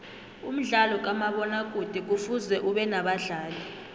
umdlalo kamabona kude kufuze ubenabadlali